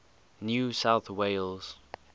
new south wales